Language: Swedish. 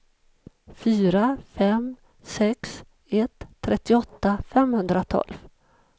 fyra fem sex ett trettioåtta femhundratolv